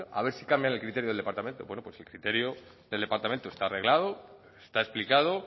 a ver si cambian el criterio del departamento bueno pues el criterio del departamento está arreglado está explicado